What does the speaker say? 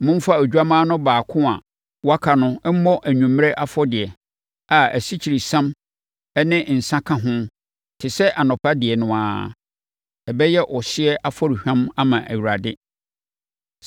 Momfa odwammaa no baako a waka no mmɔ anwummerɛ afɔdeɛ a asikyiresiam ne nsã ka ho te sɛ anɔpa deɛ no ara. Ɛbɛyɛ ɔhyeɛ afɔrehwam ama Awurade.